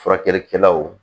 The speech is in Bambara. Furakɛlikɛlaw